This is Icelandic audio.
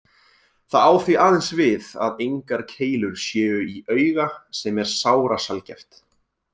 Það á því aðeins við að engar keilur séu í auga sem er sárasjaldgæft.